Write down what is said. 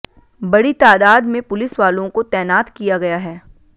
बड़ी तादाद में पुलिस वालों को तैनात किया गया है